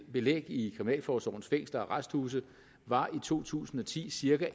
belæg i kriminalforsorgens fængsler og arresthuse var i to tusind og ti cirka